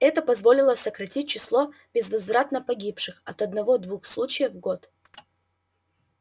это позволило сократить число безвозвратно погибших до одного-двух случаев в год